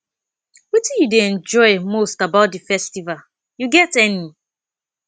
wetin you dey enjoy most about di festival you get any